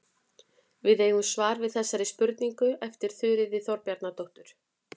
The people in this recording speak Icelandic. Við eigum svar við þessari spurningu eftir Þuríði Þorbjarnardóttur.